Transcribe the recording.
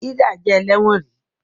Hilda jé ẹlẹwọn rí